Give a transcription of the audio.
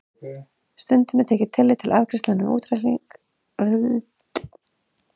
Stundum er tekið tillit til arðgreiðslna við útreikning hlutabréfavísitalna en oftast ekki.